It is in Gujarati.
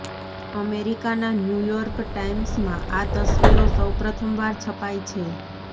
અમેરિકાના ન્યૂયોર્ક ટાઈમ્સમાં આ તસવીરો સૌ પ્રથમવાર છપાઈ છે